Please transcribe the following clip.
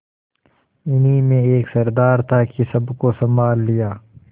इन्हीं में एक सरदार था कि सबको सँभाल लिया